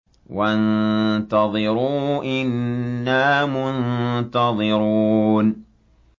وَانتَظِرُوا إِنَّا مُنتَظِرُونَ